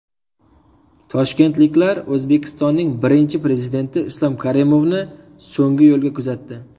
Toshkentliklar O‘zbekistonning Birinchi Prezidenti Islom Karimovni so‘nggi yo‘lga kuzatdi.